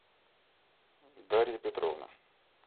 дарья петровна